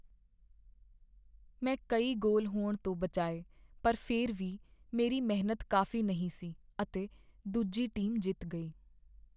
ਮੈਂ ਕਈ ਗੋਲ ਹੋਣ ਤੋਂ ਬਚਾਏ ਪਰ ਫਿਰ ਵੀ, ਮੇਰੀ ਮਿਹਨਤ ਕਾਫ਼ੀ ਨਹੀਂ ਸੀ ਅਤੇ ਦੂਜੀ ਟੀਮ ਜਿੱਤ ਗਈ।